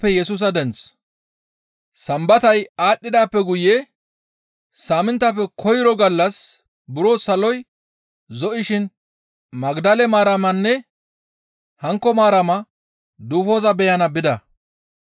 Sambatay aadhdhidaappe guye saaminttafe koyro gallas buro saloy zo7ishin Magdale Maaramanne hankko Maarama duufoza beyana bida.